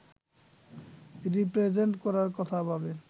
represent করার কথা ভাবেন